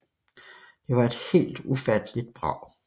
Det var et helt ufatteligt brag